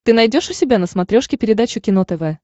ты найдешь у себя на смотрешке передачу кино тв